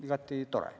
Igati tore!